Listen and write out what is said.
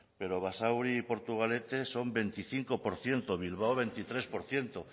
pero basauri y portugalete son veinticinco por ciento bilbao veintitrés por ciento